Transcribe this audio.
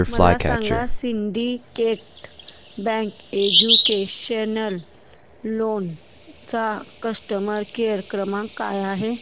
मला सांगा Syndicate Bank educational loan चा कस्टमर केअर क्रमांक काय आहे